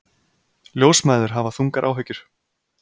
Ljósmæður hafa þungar áhyggjur